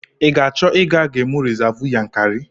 I ga-achọ ịga gemụ rizavụ Yankari?